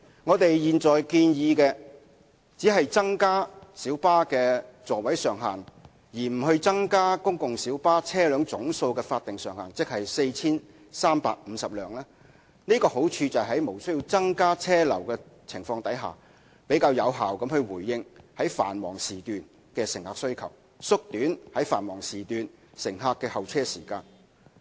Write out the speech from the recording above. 我們現在建議只增加小巴的座位上限，而不增加公共小巴車輛總數的法定上限，即 4,350 輛，好處是可以在無需增加車流的情況下，比較有效地回應繁忙時段的乘客需求、縮短繁忙時段乘客的候車時間。